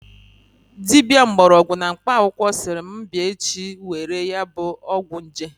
Dibia mgborogwu na mkpa akwukwo siri m bia echi were ya bu ogwu nje